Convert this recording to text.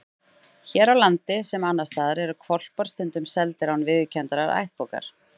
Hér á landi, sem annars staðar, eru hvolpar stundum seldir án viðurkenndrar ættbókar.